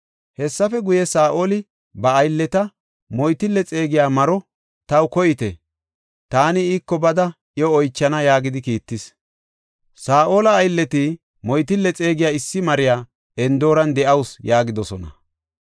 Hessafe guye, Saa7oli ba aylleta, “Moytille xeegiya maro taw koyte; taani iiko bada iyo oychana” yaagidi kiittis. Saa7ola aylleti, “Moytille xeegiya issi maroy Endooran de7ausu” yaagidosona.